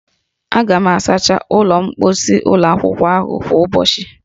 A ga-asacha ụlọ mkposi ụlọ akwụkwọ ahụ kwa ụbọchị